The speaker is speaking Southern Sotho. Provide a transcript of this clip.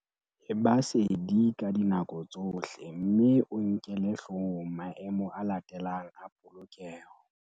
Eba sedi ka dinako tsohle mme o nkele hloohong maemo a latelang a polokeho.